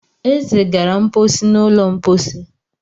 Eze gara mposi n'ụlọ mposi.